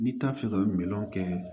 N'i t'a fɛ ka miliyɔn kɛ